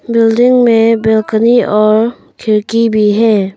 Building में balcony और खिड़की भी है।